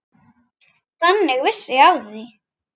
Þannig vissi ég af því.